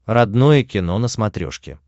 родное кино на смотрешке